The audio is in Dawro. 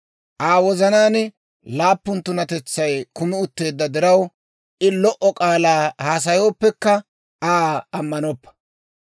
Aa wozanaan laappun tunatetsay kumi utteedda diraw, I lo"o k'aalaa haasayooppekka Aa ammanoppa.